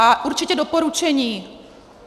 A určitě doporučení: